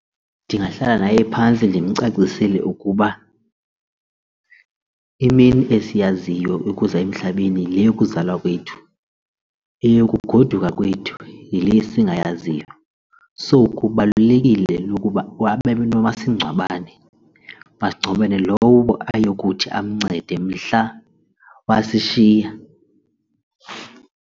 Ndingahlala naye phantsi ndimcacisele ukuba imini esiyaziyo yokuza emhlabeni yile yokuzalwa kwethu, eyokugoduka kwethu yile singayaziyo so kubalulekile lokuba babe nomasingcwabane umasingcwabane lowo ayokuthi amncede mhla wasishiya.